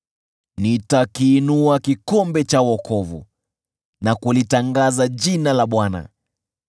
Nitakiinua kikombe cha wokovu na kulitangaza jina la Bwana .